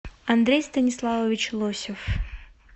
андрей станиславович лосев